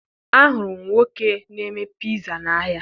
Ahụrụ m nwoke na-eme piza n'ahịa